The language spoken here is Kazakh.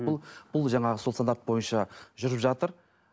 бұл бұл жанағы сол стандарт бойынша жүріп жатыр